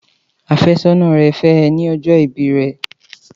Àfẹ́sọ́nà rẹ̀ fẹ́ ẹ ní ọjọ́ ìbí rẹ̀.